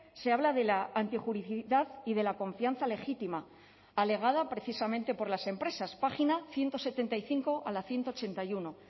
se habla de la antijuricidad y de la confianza legítima alegada precisamente por las empresas página ciento setenta y cinco a la ciento ochenta y uno